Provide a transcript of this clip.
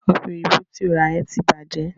Ọ̀pẹ̀ òyìnbò tí o rà yẹn ti bàjẹ́.